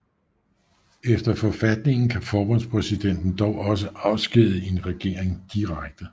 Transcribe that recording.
Efter forfatningen kan forbundspræsidenten dog også afskedige en regering direkte